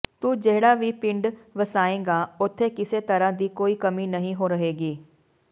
ਤੁ ਜਿਹੜਾ ਵੀ ਪਿੰਡ ਵਸਾਏਗਾਂ ਉਥੇ ਕਿਸੇ ਤਰਾਂ ਦੀ ਕੋਈ ਕਮੀ ਨਹੀ ਰਹੇਗੀ